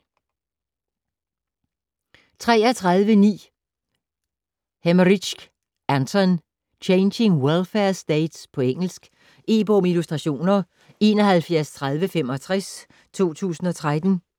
33.9 Hemerijck, Anton: Changing welfare states På engelsk. E-bog med illustrationer 713065 2013.